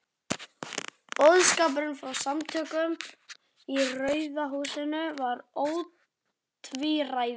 Boðskapurinn frá Samtökunum í Rauða húsinu var ótvíræður.